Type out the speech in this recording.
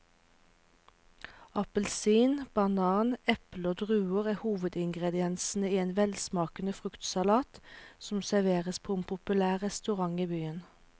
Appelsin, banan, eple og druer er hovedingredienser i en velsmakende fruktsalat som serveres på en populær restaurant i byen.